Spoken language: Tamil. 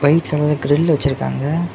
ஒயிட் கலர்ல கிரில் வச்சிருக்காங்க.